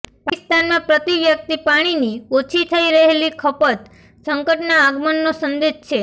પાકિસ્તાનમાં પ્રતિ વ્યક્તિ પાણીની ઓછી થઈ રહેલી ખપત સંકટના આગમનનો સંદેશ છે